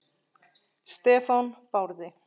Stefán Barði.